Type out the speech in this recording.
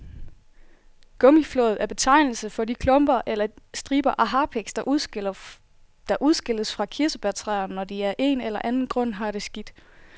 Gummiflåd er betegnelsen for de klumper eller striber af harpiks, der udskilles fra kirsebærtræer, når de af en eller anden grund har det skidt.